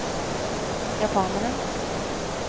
japaneren